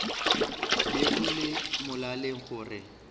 be go le molaleng gore